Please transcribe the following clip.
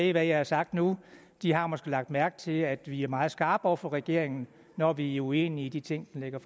i hvad jeg har sagt nu har måske lagt mærke til at vi er meget skarpe over for regeringen når vi er uenige i de ting den lægger